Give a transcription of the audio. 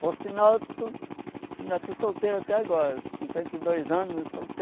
Por sinal, tu ainda estou solteiro até agora, cinquenta e dois anos